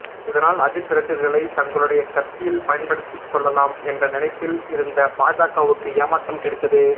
இதனால் அஜித் ரசிகர்களை தங்களுடைய கட்சியில் பயன்படுத்தி கொள்ளலாம் என்ற நினைப்பில் இருந்த பாஜகவுக்கு ஏமாற்றம் கிடைத்தது